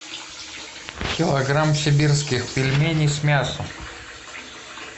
килограмм сибирских пельменей с мясом